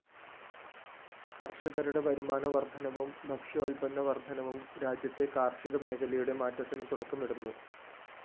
കര്‍ഷകരുടെ വരുമാനവര്‍ദ്ധനവും ഭക്ഷ്യോല്‍പന്ന വര്‍ദ്ധനവും രാജ്യത്തെ കാര്‍ഷികമേഖലയുടെ മാറ്റത്തിന് തുടക്കമിടുന്നു